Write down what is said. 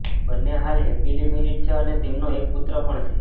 બંન્ને હાલ happily married છે અને તેમનો એક પુત્ર પણ છે